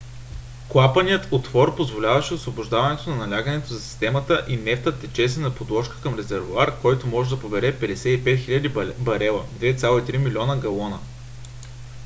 клапанният отвор позволяваше освобождаване на налягането за системата и нефтът течеше на подложка към резервоар който може да побере 55 000 барела 2,3 милиона галона